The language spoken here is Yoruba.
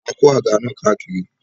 A kó àga náà kàkiri